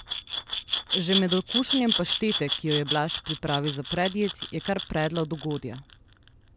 Že med okušanjem paštete, ki jo je Blaž pripravil za predjed, je kar predla od ugodja.